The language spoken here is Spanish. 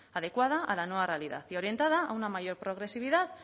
adecuada a la nueva realidad y orientada a una mayor progresividad